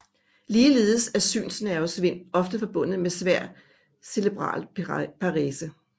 Ligeledes er synsnervesvind ofte forbundet med svær cerebral parese